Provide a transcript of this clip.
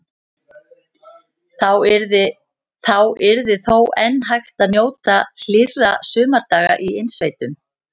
Þá yrði þó enn hægt að njóta hlýrra sumardaga í innsveitum.